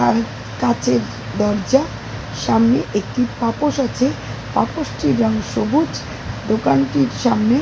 আর কাঁচের দরজা সামনে একটি পাপোস আছে পাপোস টির রং সবুজ দোকানটির সামনে --